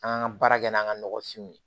An kan ka baara kɛ n'an ka nɔgɔfinw ye